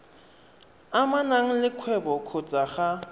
amanang le kgwebo kgotsa ga